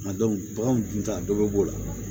A baganw dun ta dɔ bɛ b'o la